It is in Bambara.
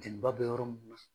Jɛnniba bɛ yɔrɔ min na